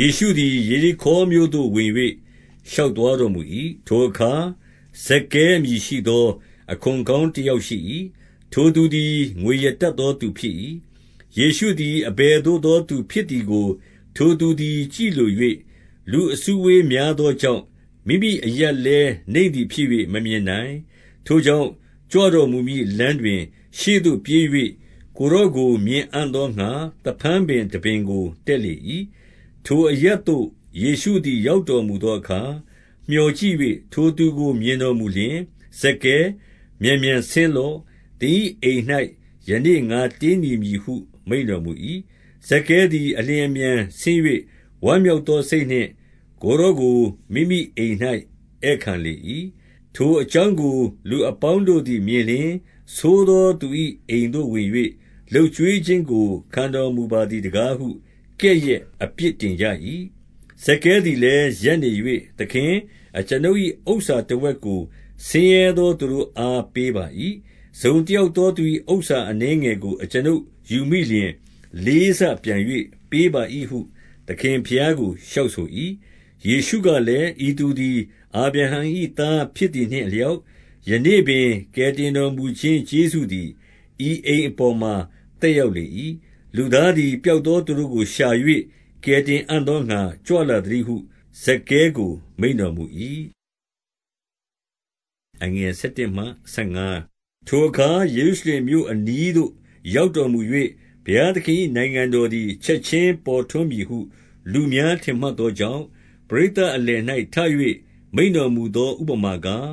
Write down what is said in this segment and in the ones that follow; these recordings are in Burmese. ယေရှုသည် ယေရိခေါမြို့သို့ ဝင်၍ ရှောက်သွားတော်မူ၏။ 2 ထိုအခါ ဇက္ခဲအမည်ရှိသော အခွန်ခေါင်းတယောက်ရှိ၏။ ထိုသူသည် ငွေရတတ်သောသူဖြစ်၏။ 3 ယေရှုသည် အဘယ်သို့သောသူဖြစ်သည်ကို ထိုသူသည် ကြည့်လို၍၊ လူအစုအဝေးများသောကြောင့်၊ မိမိရပ်လည်း နိမ့်သည်ဖြစ်၍ မမြင်နိုင်။ 4 ထို့ကြောင့် ကြွတော်မူမည့်လမ်းတွင် ရှေ့သို့ပြေး၍ ကိုယ်တော်ကို မြင်အံ့သောငှါ သဖန်းပင်တပင်ကို တက်လေ၏။ 5 ထိုအရပ်သို့ ယေရှုသည် ရောက်တော်မူသောအခါ မျှော်ကြည့်၍ ထိုသူကို မြင်တော်မူလျှင်၊ 6 ဇက္ခဲ၊ မြန်မြန်ဆင်းလော့။ သင်၏အိမ်၌ ယနေ့ငါတည်းနေမည်ဟု မိန့်တော်မူ၏။ ဇက္ခဲသည် အလျင် အမြန်ဆင်း၍ ဝမ်းမြောက်သောစိတ်နှင့် ကိုယ်တော်ကို မိမိအိမ်၌ ဧည့်ခံလေ၏။ 7 ထိုအကြောင်း။ကို လူအပေါင်းတို့သည်မြင်လျှင်၊ ဆိုးသောလူ၏ အိမ်သို့ဝင်၍ လုပ်ကျွေးခြင်းကို ခံတော်မူပါသည်တကားဟု ကဲ့ရဲ့အပြစ်တင်ကြ၏။ 8 ဇက္ခဲသည်လည်း ရပ်နေ၍၊ သခင်၊ အကျွန်ုပ်၏ ဥစ္စာတဝက်ကို ဆင်းရဲသောသူတို့အား ပေးပါ၏။ တစုံ တယောက်သောသူ၏ဥစ္စာအနည်းငယ်ကို အကျွန်ုပ်ယူမိလျှင်၊ လေးဆပြန်၍ပေးပါ၏ဟု သခင်ဘုရားကို လျှောက်ဆို၏။ 9 ယေရှုကလည်း၊ ဤသူသည် အာဗြဟံ၏သားဖြစ်သည်နှင့်အလျောက်၊ ယနေ့ပင် ကယ်တင်တော်မူခြင်း ကျေးဇူးသည် ဤအိမ်အပေါ်မှာ သက်ရောက်လေ၏။ 10 လူသားသည် ပျောက်သောသူတို့ကိုရှာ၍ ကယ်တင်အံ့သောငှါ ကြွလာသတည်းဟု ဇက္ခဲကို မိန့်တော် မူ၏။ 11 ထိုအခါ ယေရုရှလင်မြို့အနီးသို့ ရောက်တော်မူ၍၊ ဘုရားသခင်၏ နိုင်ငံတော်သည် ချက်ခြင်း ပေါ်ထွန်းမည်ဟု လူများထင်မှတ်သောကြောင့်၊ ပရိတ်သတ်အလယ်၌ မိန့်တော်မူသော ဥပမာကား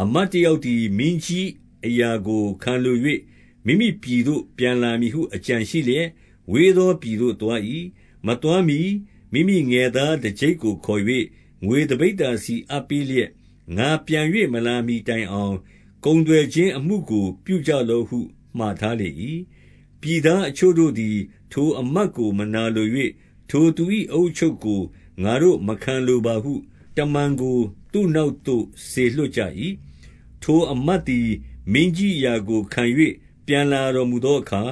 ၊ 12 အမတ်တယောက်သည် မင်းကြီးအရာကို ခံလို၍ မိမိပြည်သို့ ပြန်လာမည်ဟု အကြံရှိလျက် ဝေးသော ပြည်သို့သွား၏။ 13 မသွားမှီ မိမိငယ်သားတကျိပ်ကိုခေါ်၍၊ ငွေတပိဿာစီအပ်ပေးလျက် ငါပြန်၍ မလာမှီတိုင်အောင် ကုန်သွယ်ခြင်းအမှုကို ပြုကြလော့ဟု မှာထားလေ၏။ 14 ပြည်သားအချို့သည် ထိုအမတ်ကို မနာလို၍၊ ထိုသူ၏ အအုပ်အချုပ်ကို ငါတို့မခံလိုပါဟု တမန်ကို သူ့နောက်သို့ စေလွှတ်ကြ၏။ 15 ထိုအမတ်သည် မင်းကြီးအရာကိုခံ၍ ပြန်လာတော်မူသောအခါ၊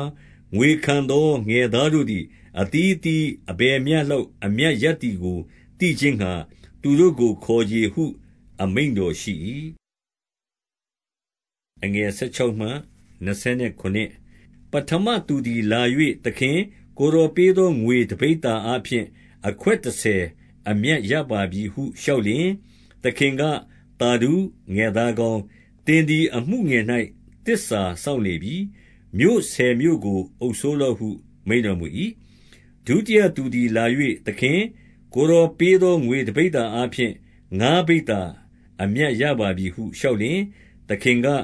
ငွေခံသော ငယ်သားတို့သည် အသီး အသီးအဘယ်မျှလောက် အမြတ်ရသည်ကို သိခြင်းငှါ သူတို့ကိုခေါ်ချေဟု အမိန့်တော်ရှိ၏။ 16 ပဌမသူသည် လာ၍၊ သခင်၊ ကိုယ်တော်ပေးသော ငွေတပိဿာအားဖြင့် အခွက်တဆယ် အမြတ်ရပါ ပြီဟု လျှောက်လျှင်၊ 17 သခင်က၊ သာဓု၊ ငယ်သားကောင်း၊ သင်သည် အမှုငယ်၌ သစ္စာစောင့်လေပြီ။ မြို့ဆယ်မြို့ကို အုပ်စိုး လော့ဟု မိန့်တော်မူ၏။ 18 ဒုတိယသူသည် လာ၍၊ သခင်၊ ကိုယ်တော်ပေးသော ငွေတပိဿာအားဖြင့် ငါးပိဿာအမြတ်ရပါပြီဟု လျှောက်လျှင်၊ 19 သခင်က၊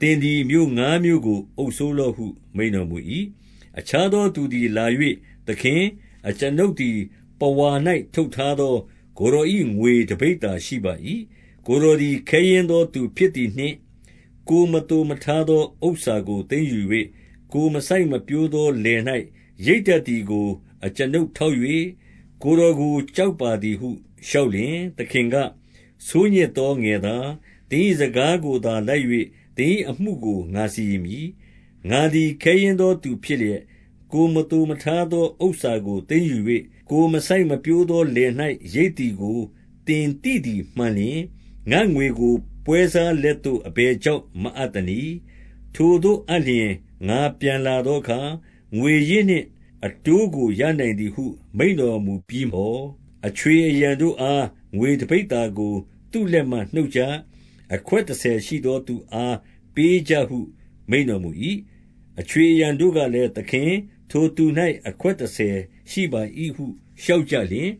သင်သည် မြို့ငါးမြို့ကိုအုပ်စိုးလော့ဟု မိန့်တော်မူ၏။ 20 အခြားသော သူသည်လာ၍၊ သခင်၊ အကျွန်ုပ်သည် ပဝါ၌ထုပ်ထားသော ကိုယ်တော်၏ ငွေတပိဿာ ရှိပါ၏။ ကိုယ်တော်သည် ခဲယဉ်းသောသူဖြစ်သည်နှင့်၊ 21 ကိုယ်မသိုမထားသော ဥစ္စာကိုသိမ်းယူ၍၊ ကိုယ်မစိုက်မပျိုးသော လယ်၌ရိတ်တတ်သည်ကို အကျွန်ုပ် ထောက်၍ ကိုယ်တော်ကို ကြောက်ပါသည်ဟု လျှောက်လျှင်၊ 22 သခင်က၊ ဆိုးညစ်သောငယ်သား၊ သင်၏ စကားကိုသာလိုက်၍ သင်၏အမှုကို ငါစီရင်မည်။ ငါသည် ခဲယဉ်းသောသူဖြစ်လျက် ကိုယ်မသိုမထားသောဥစ္စာကို သိမ်းယူ၍၊ ကိုယ်မစိုက်ပျိုးသော လယ်၌ရိတ်သည်ကို သင်သိသည်မှန်လျှင်၊ 23 ငါ့ငွေကို ပွဲစားလက်သို့ အဘယ်ကြောင့်မအပ်သနည်း။ ထိုသို့အပ်လျှင် ငါပြန်လာသောအခါ ငွေရင်း နှင့် အဘိုးကို ရနိုင်သည်ဟု မိန့်တော်မူပြီးသော်၊ 24 အခြွေအရံတို့အား၊ ငွေတပိဿာကို သူ့လက်မှ နှုတ်ကြ။ အခွက်တဆယ်ရှိသောသူအား ပေးကြဟု မိန့် တော်မူ၏။ 25 အခြွေအရံတို့ကလည်း၊ သခင်၊ ထိုသူ၌ အခွက်တဆယ်ရှိပါ၏ဟု လျှောက်ကြလျှင်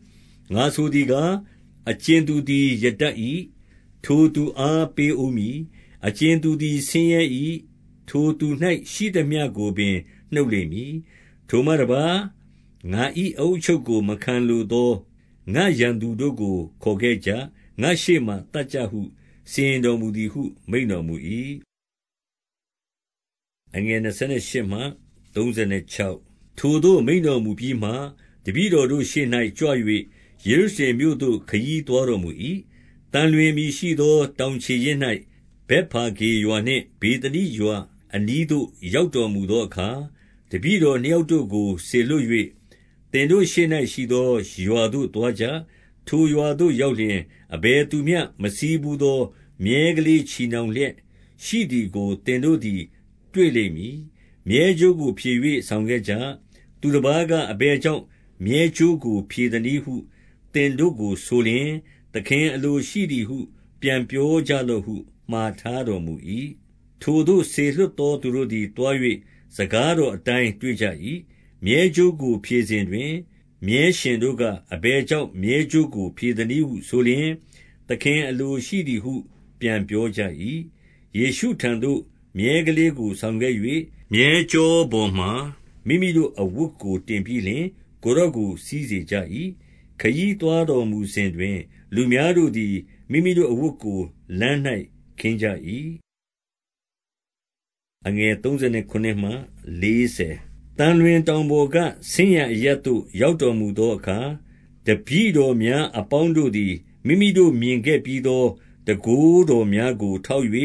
၊ 26 ငါဆိုသည်ကား၊ အကြင်သူသည်ရတတ်၏။ ထိုသူအား ပေးဦးမည်။ အကြင်သူသည် ဆင်းရဲ၏။ ထိုသူ ၌ရှိသမျှကိုပင် နှုတ်လိမ့်မည်။ 27 ထိုမှတပါး ငါ၏အအုပ်အချုပ်ကို မခံလိုသော ငါ့ရန်သူတို့ကို ခေါ်ခဲ့ကြ။ ငါ့ရှေ့မှာ သတ်ကြဟု စီရင် တော်မူသည်ဟု မိန့်တော်မူ၏။ 28 ထိုသို့ မိန့်တော်မူပြီးမှ၊ တပည့်တော်တို့ ရှေ့၌ ကြွ၍ ယေရုရှလင်မြို့သို့ ခရီးသွားတော်မူ၏။ 29 သံလွင်အမည်ရှိသော တောင်ခြေရင်း၌ ဗက်ဖာဂေရွာနှင့် ဗေသနိရွာအနီးသို့ ရောက်တော်မူ သော အခါ၊ တပည့်တော်နှစ်ယောက်တို့ကို စေလွှတ်၍၊ 30 သင်တို့ရှေ့၌ရှိသောရွာသို့သွားကြ။ ထိုရွာသို့ ရောက်လျှင် အဘယ်သူမျှ မစီးဘူးသောမြည်းကလည်း ချည်နှောင်လျက်ရှိသည်ကို သင်တို့သည် တွေ့လိမ့်မည်။ မြည်းကြိုးကိုဖြည်၍ ဆောင်ခဲ့ကြ။ 31 သူတပါးက အဘယ်ကြောင့် မြည်းကြိုးကို ဖြည်သနည်းဟု သင်တို့ကိုဆိုလျှင်၊ သခင်အလိုရှိသည်ဟု ပြန်ပြောကြလော့ဟု မှာထားတော်မူ၏။ 32 ထိုသို့ စေလွှတ်သောသူတို့သည် သွား၍ စကားတော်အတိုင်း တွေ့ကြ၏။ 33 မြည်းကြိုးကို ဖြည်စဉ်တွင် မြည်းရှင်တို့က၊ အဘယ်ကြောင့် မြည်းကြိုးကို ဖြည်သနည်းဟုဆိုလျှင်၊ 34 သခင်အလိုရှိသည်ဟု ပြန်ပြောကြ၏။ ယေရှုထံတော်သို့ မြည်းကလေးကို ဆောင်ခဲ့၍၊ 35 မြည်းကျောပေါ်မှာ မိမိတို့ အဝတ်ကို တင်ပြီးလျှင် ကိုယ်တော်ကို စီးစေကြ၏။ 36 ခရီးသွားတော်မူစဉ်တွင် လူများတို့သည် မိမိတို့ အဝတ်ကို လမ်း၌ ခင်းကြ၏။ 37 သံလွင်တောင်ပေါ်က ဆင်းရာအရပ်သို့ ရောက်တော်မူသောအခါ၊ တပည့်တော်များအပေါင်းတို့သည် မိမိတို့ မြင်ခဲ့ပြီးသောတန်ခိုးတော်များကိုထောက်၍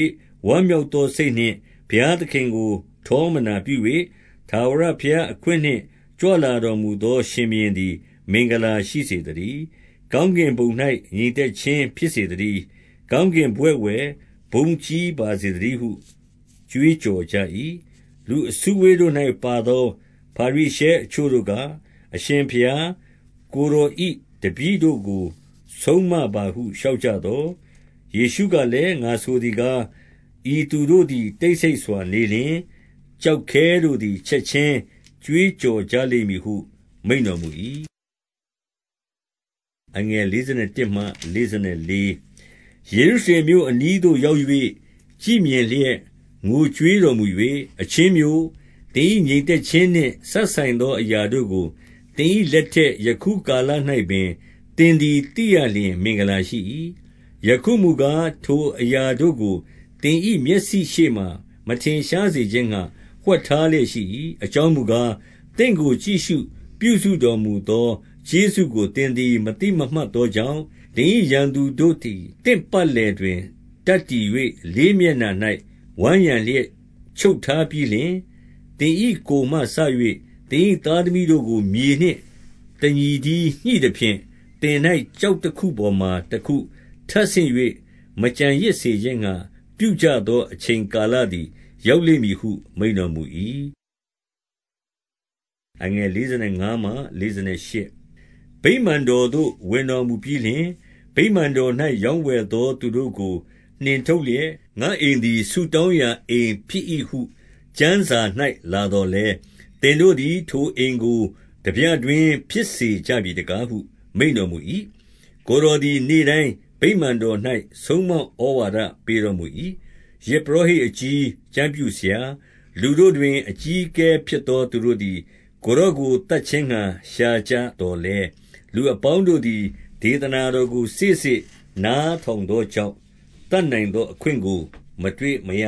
ဝမ်းမြောက်သောစိတ်နှင့် ဘုရားသခင်ကို ထောမနာပြု၍၊ 38 ထာဝရဘုရား၏ အခွင့်နှင့်ကြွလာတော်မူသော ရှင်ဘုရင်သည် မင်္ဂလာရှိစေသတည်း။ ကောင်းကင် ဘဝဂ်ဝယ် ဘုန်းကြီးပါစေသတည်းဟု ကြွေးကြော်ကြ၏။ 39 လူအစုအဝေး၌ပါသော ဖာရိရှဲအချို့တို့က၊ အရှင်ဘုရား၊ ကိုယ်တော်၏တပည့်တို့ကို ဆုံးမပါဟု လျှောက်ကြသော်၊ 40 ယေရှုကလည်း၊ ငါဆိုသည်ကား၊ ဤသူတို့သည် တိတ်ဆိတ်စွာနေလျှင် ကျောက်ခဲတို့သည် ချက်ခြင်း ကြွေးကြော်ကြလိမ့်မည်ဟု မိန့်တော်မူ၏။ 41 ယေရုရှလင်မြို့အနီးသို့ ရောက်၍ ကြည့်မြင်လျက် ငိုကြွေးတော်မူ၍၊ 42 အချင်းမြို့၊ သင်၏ငြိမ်သက်ခြင်းနှင့် စပ်ဆိုင်သောအရာတို့ကို သင်၏လက်ထက် ယခုကာလ၌ပင် သင်သည် သိရလျှင်မင်္ဂလာရှိ၏။ ယခုမူကား၊ ထိုအရာတို့ကို သင်၏မျက်စိရှေ့မှာ မထင်ရှားစေခြင်းငှါ ဝှက်ထား လျက် ရှိ၏။ 43 အကြောင်းမူကား၊ သင့်ကို ကြည့်ရှုပြုစုတော်မူသော ကျေးဇူးကို သင်သည် မသိမမှတ်သောကြောင့်၊ သင်၏ ရန်သူတို့သည် သင့်ပတ်လည်တွင် တပ်တည်၍ လေးမျက်နှာ၌ ဝိုင်းရံလျက် ချုပ်ထားပြီးလျှင်၊ 44 သင်၏ကိုယ်မှစ၍ သင်၏ သားသမီးတို့ကို မြေနှင့်တညီတည်း ညှိသဖြင့်၊ သင်၏ကျောက်တခုပေါ်မှာ တခုမျှ ထပ်ဆင့်၍ မကျန်ရစ်စေခြင်းငှါ ပြုကြသောအချိန်ကာလသည် ရောက်လိမ့်မည်ဟု မိန့်တော်မူ၏။ 45 ဗိမာန်တော်သို့ ဝင်တော်မူပြီးလျှင်၊ ဗိမာန်တော်၌ ရောင်းဝယ်သောသူတို့ကို နှင်ထုတ်လျက်၊ 46 ငါ့အိမ်သည် ဆုတောင်းရာအိမ်ဖြစ်၏ဟု ကျမ်းစာ၌ လာသော်လည်း၊ သင်တို့သည် ထိုအိမ်ကို ထားပြ တွင်းဖြစ်စေကြပြီတကားဟု မိန့်တော်မူ၏။ 47 ကိုယ်တော်သည် နေ့တိုင်းဗိမာန်တော်၌ ဆုံးမဩဝါဒပေးတော်မူ၏။ ယဇ်ပုရောဟိတ်အကြီး၊ ကျမ်းပြု ဆရာ၊ လူတို့တွင် အကြီးအကဲဖြစ်သောသူတို့သည် ကိုယ်တော်ကို သတ်ခြင်းငှါ ရှာကြသော်လည်း၊ 48 လူအပေါင်းတို့သည် ဒေသနာတော်ကို စေ့စေ့နားထောင်သောကြောင့် သတ်နိုင်သောအခွင့်ကို မတွေ့ မရ